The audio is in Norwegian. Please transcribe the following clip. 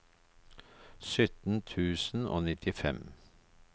sytten tusen og nittifem